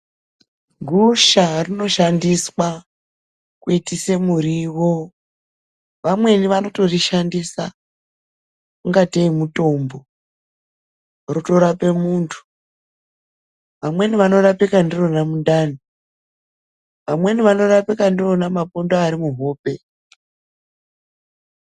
Gusha rinoshandiswa kuitise muriwo. Vamweni vanotorishandisa ingateyi mutombo, rotorape muntu. Vamweni vanorapika ndirona mundani, vamweni vanorapika ndirona mapundu ari muhope.